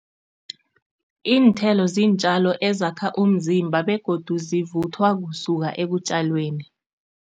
Iinthelo ziintjalo ezakha umzimba begodu zivuthwa kusuka ekutjalweni.